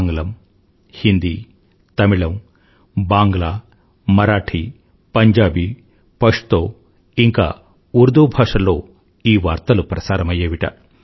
ఆంగ్లం హిందీ తమిళం బాంగ్లామరాఠీ పంజాబీపష్తో ఇంకా ఉర్దూ భాషల్లో ఈ వార్తలు ప్రసారమయ్యేవిట